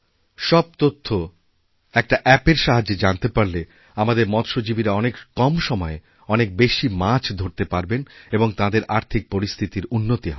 সব তথ্য একটা অ্যাপএর সাহায্যে জানতে পারলে আমাদেরমৎস্যজীবীরা অনেক কম সময়ে অনেক বেশি মাছ ধরতে পারবেন এবং তাঁদের আর্থিক পরিস্থিতিরউন্নতি হবে